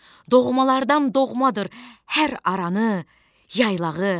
Doğmalardan doğmadır hər aranı, yaylağı.